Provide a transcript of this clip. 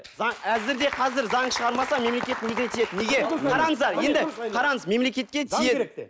әзір де қазір заң шығармаса мемлекет неге тиеді неге қараңыздар енді қараңыз мемлекетке тиеді